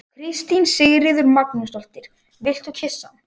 Kristín Sigríður Magnúsdóttir: Viltu kyssa hann?